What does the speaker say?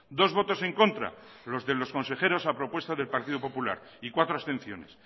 dos votos en contra los de los consejeros a propuesta del partido popular y cuatro abstenciones